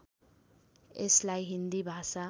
यसलाई हिन्दी भाषा